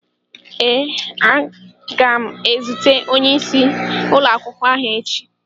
Ee, aga m ezute onyeisi ụlọakwụkwọ ahụ echi.